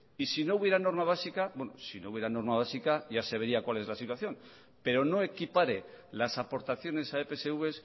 y si no hubiera norma básica bueno si no hubiera norma básica ya se vería cuál es la situación pero no equipare las aportaciones a epsv